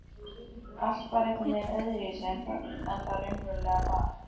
Allt var einhvern veginn öðruvísi en það raunverulega var.